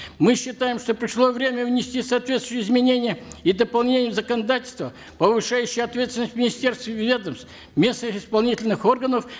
мы считаем что пришло время внести соответствующие изменения и дополнения в законодательство повыщающее ответственность министерств и ведомств местных исполнительных органов